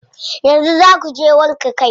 Yanzu zaa kuje wanke kai?